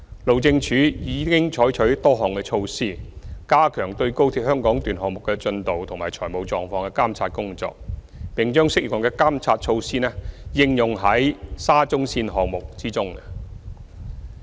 路政署已採取多項措施，加強對高鐵香港段項目的進度及財務狀況的監察工作，並把適用的監察措施應用於沙中線項目中。